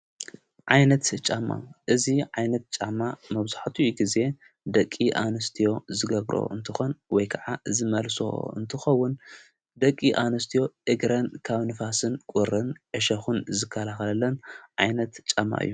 ዓይነት ጫማ እዙይ ዓይነት ጫማ መብዙሐቱ ጊዜ ደቂ ኣንስትዮ ዝገብሮ እንተኾን ወይ ከዓ ዝመልሶ እንትኸውን ደቂ ኣንስትዮ ኢግረን ካብ ንፋስን ቊርን አሸኹን ዝካልኸለለን ዓይነት ጫማ እዮ።